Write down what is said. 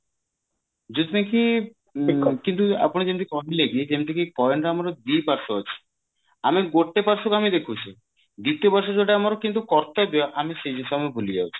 କିନ୍ତୁ ଆପଣ ଯେମତି କହିଲେ କି ଯେମତି କି coin ରେ ଆମର ଦି ପାର୍ଶ୍ଵ ଅଛି ଆମେ ଗୋଟେ ପାର୍ଶ୍ଵ କୁ ଆମେ ଦେଖୁଛେ ଦ୍ଵିତୀୟ ପାର୍ଶ୍ଵ ଯୋଉଟା ଆମର କିନ୍ତୁ କର୍ତବ୍ୟ ଆମେ ସେଇ ଜିନିଷ ଆମେ ଭୁଲି ଯାଉଛେ